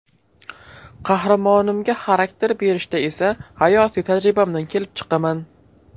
Qahramonimga xarakter berishda esa hayotiy tajribamdan kelib chiqaman.